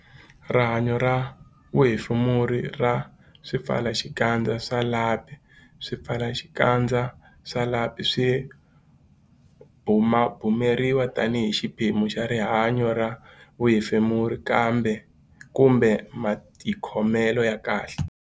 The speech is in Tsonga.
Rihanyo ra vuhefemuri ra swipfalaxikandza swa lapi Swipfalaxikandza swa lapi swi bumabumeriwa tanihi xiphemu xa rihanyo ra vuhefemuri kumbe matikhomelo ya kahle.